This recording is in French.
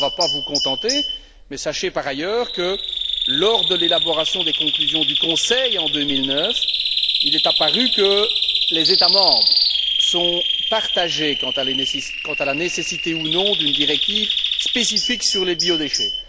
Cela ne va pas vous contenter, mais sachez, par ailleurs, que lors de l'élaboration des conclusions du Conseil en 2009, il est apparu que les États membres sont partagés quant à la nécessité ou non d'une directive spécifique sur les biodéchets.